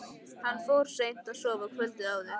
Hann fór seint að sofa kvöldið áður.